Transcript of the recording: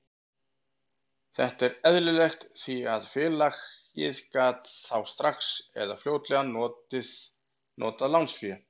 Þetta er eðlilegt því að félagið gat þá strax eða fljótlega notað lánsféð.